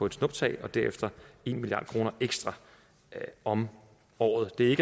et snuptag og derefter en milliard kroner ekstra om året det er